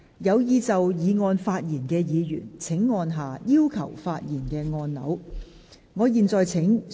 有意就議案發言的議員請按下"要求發言"按鈕。